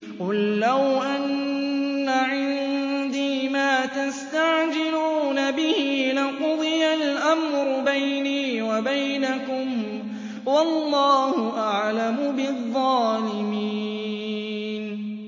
قُل لَّوْ أَنَّ عِندِي مَا تَسْتَعْجِلُونَ بِهِ لَقُضِيَ الْأَمْرُ بَيْنِي وَبَيْنَكُمْ ۗ وَاللَّهُ أَعْلَمُ بِالظَّالِمِينَ